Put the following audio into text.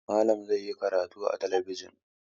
Malam zai yi karatu a talabijin.